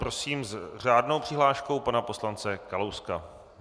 Prosím s řádnou přihláškou pana poslance Kalouska.